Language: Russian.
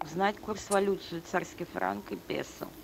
узнать курс валют швейцарский франк и песо